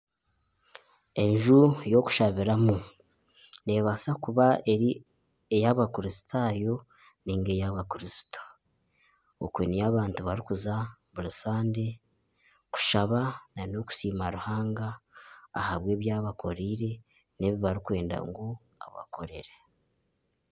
Enju y'okushabiramu neebaasa kuba eri ey'abakristaayo nari ey'abakristo okwe niyo abantu barikuza buri sande kushaba nana okusiima ruhanga ahabw'ebi abakooriire n'ebi barikwenda ngu abakorere